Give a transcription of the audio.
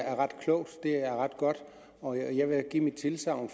er ret klogt det er ret godt og jeg vil give tilsagn